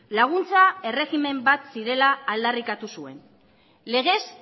laguntza erregimen bat zirela aldarrikatu zuen legez